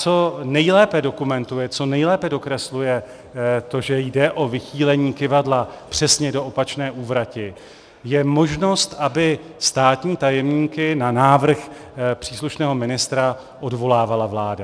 Co nejlépe dokumentuje, co nejlépe dokresluje to, že jde o vychýlení kyvadla přesně do opačné úvrati, je možnost, aby státní tajemníky na návrh příslušného ministra odvolávala vláda.